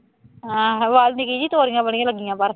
ਹਾਂ ਹਵਾ ਸੀਗੀ, ਤੋਰੀਆਂ ਬੜੀਆਂ ਲੱਗੀਆਂ ਬਾਹਰ